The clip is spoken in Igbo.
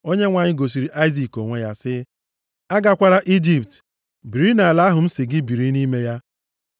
Onyenwe anyị gosiri Aịzik onwe ya, sị, “Agakwala Ijipt; biri nʼala ahụ m sị gị biri nʼime ya.